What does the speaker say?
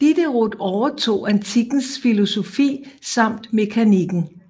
Diderot overtog antikkens filosofi samt mekanikken